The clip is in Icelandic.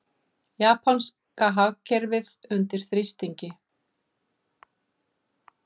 Japanska hagkerfið undir þrýstingi